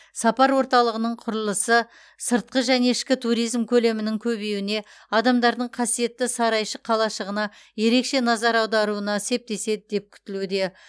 сапар орталығының құрылысы сыртқы және ішкі туризм көлемінің көбеюіне адамдардың қасиетті сарайшық қалашығына ерекше назар аударуына септеседі деп күтілуде